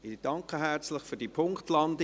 Ich danke herzlich für diese Punktlandung.